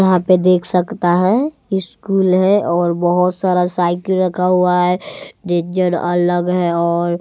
यहां पे देख सकता है स्कूल है और बहोत सारा साइकिल रखा हुआ है रेंजर अलग है और--